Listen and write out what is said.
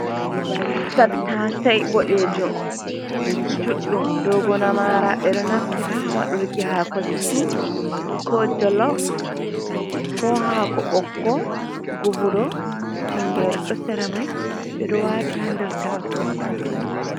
Tattasei boɗejum juɗɗum, dogo na maara. Ɓe ɗo naftira ha wadurki haako stiw, ko jolof, ko haako ɓokko, gubuɗo. Tingere ɗo sera mai, ɓe ɗo waati ha nder taaso kofi.